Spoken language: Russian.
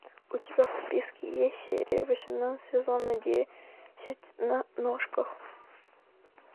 у тебя в списке есть серия восемнадцать сезона десять на ножках